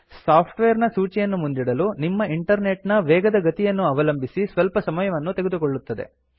software ನ ಸೂಚಿಯನ್ನು ಮುಂದಿಡಲು ನಿಮ್ಮ ಇಂಟರ್ನೆಟ್ ನ ವೇಗದ ಗತಿಯನ್ನು ಅವಲಂಬಿಸಿ ಸ್ವಲ್ಪ ಸಮಯವನ್ನು ತೆಗೆದುಕೊಳ್ಳುತ್ತದೆ